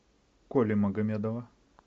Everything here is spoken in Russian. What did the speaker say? коли магомедова